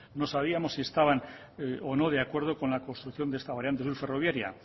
no sabíamos si estaban o no de acuerdo con la construcción de esta variante sur ferroviaria